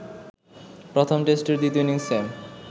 প্রথম টেস্টের দ্বিতীয় ইনিংসে